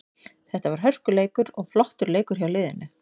Þetta var hörkuleikur og flottur leikur hjá liðinu.